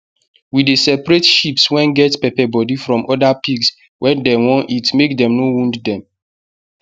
we dey separate sheeps wen get pepper body from oda pigs wen dem wan eat make dem no wound dem